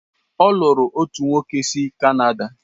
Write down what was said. Ọ lụrụ otu nwoke si Canada.